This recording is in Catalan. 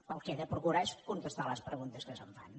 el que he de procurar és contestar les preguntes que se’m fan